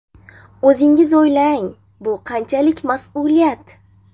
O‘zingiz o‘ylang, bu qanchalik mas’uliyat?